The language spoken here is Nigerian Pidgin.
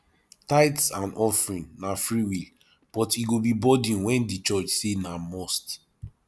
tithes and offering na freewill but e go be burden when di church say na must